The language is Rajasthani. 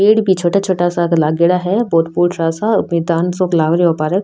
पेड़ भी छोटा छोटा सा क लागेड़ा है बहुत फुटरा सा मैदान सो लाग रो है ओ पार्क ।